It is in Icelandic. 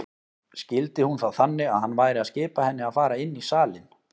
Skildi hún það þannig að hann væri að skipa henni að fara inn í salinn?